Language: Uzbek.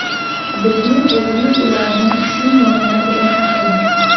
Bizning o‘zimiz ularni shu nomlar bilan ataymiz.